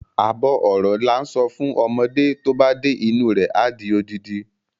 Àbọ̀ ọ̀rọ̀ làá ń sọ fún ọmọdé, tóba dé inú rẹ adi odidi.